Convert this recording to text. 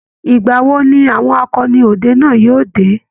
ìgbà wo ni àwọn akọni ọdẹ náà yóo dé?